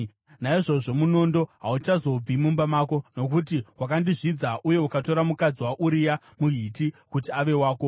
Naizvozvo, munondo hauchazobvi mumba mako, nokuti wakandizvidza uye ukatora mukadzi waUria muHiti kuti ave wako.’